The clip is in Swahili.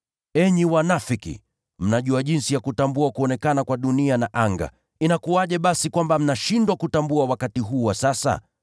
Enyi wanafiki! Mnajua jinsi ya kutambua kuonekana kwa dunia na anga. Inakuwaje basi kwamba mnashindwa kutambua wakati huu wa sasa?